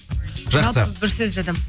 жақсы бір сөзді адам